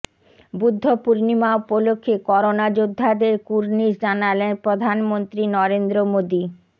বুদ্ধ পূর্ণিমা উপলক্ষে করোনা যোদ্ধাদের কুর্নিশ জানালেন প্রধানমন্ত্রী নরেন্দ্র মোদি